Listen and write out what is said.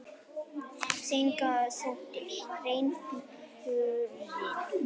Sennilega þótti greinaflokkurinn